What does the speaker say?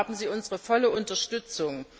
Hier haben Sie unsere volle Unterstützung!